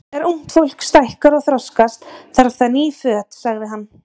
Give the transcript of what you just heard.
Þegar ungt fólk stækkar og þroskast, þarf það ný föt sagði hann.